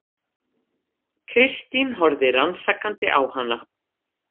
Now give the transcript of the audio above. Kristín horfði rannsakandi á hana.